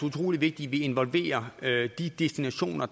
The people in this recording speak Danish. utrolig vigtigt at vi involverer de destinationer